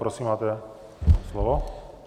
Prosím, máte slovo.